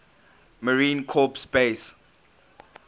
marine corps base